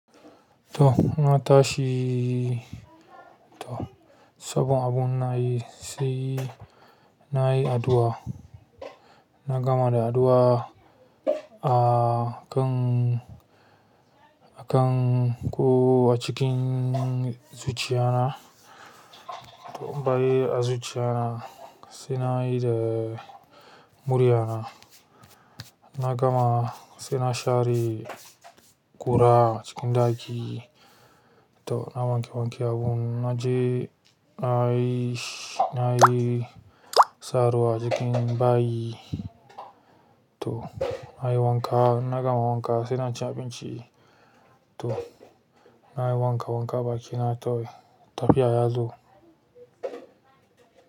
To! Na tashi, to sabon abun ina yi sai na yi addu'a. Na gama da addua akan akan ko a cikin zuciyana to, bay a zuciya na sai na yi da murya na. Na gama sai na share ƙura a cikin ɗaki. To, na wanke wanke abun, na je na yi sh-, na yi saruwa jikin bayi. Toh nayi wanka in na gama wanka sai na ci abinci to, na yi wanka wanka baki na tawai tafiya yazo.